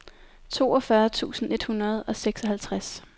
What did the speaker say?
toogfyrre tusind et hundrede og seksoghalvtreds